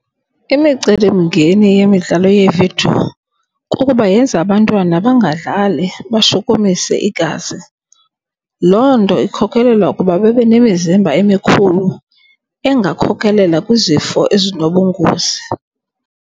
Imicelimngeni yemidlalo yeevidiyo kukuba yenza abantwana bangadlali bashukumise igazi. Loo nto ikhokelela ukuba babe nemizimba emikhulu engakhokhelela kwizifo ezinobungozi.